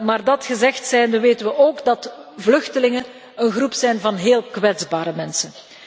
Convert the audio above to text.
Maar dat gezegd zijnde weten we ook dat vluchtelingen een groep zijn van heel kwetsbare mensen.